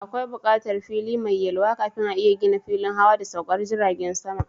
Akwai bukatar fili mai yalwa kafin a iya gina filin hawa da saukar jirajen sama.